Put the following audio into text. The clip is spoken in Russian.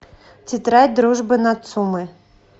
тетрадь дружбы нацумэ